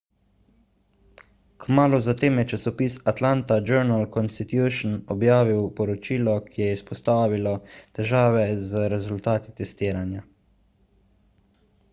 kmalu zatem je časopis atlanta journal-constitution objavil poročilo ki je izpostavilo težave z rezultati testiranja